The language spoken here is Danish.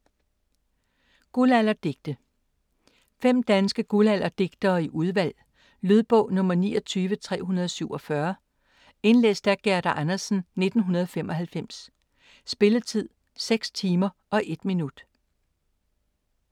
Guldalderdigte 5 danske guldalderdigtere i udvalg. Lydbog 29347 Indlæst af Gerda Andersen, 1995. Spilletid: 6 timer, 1 minut.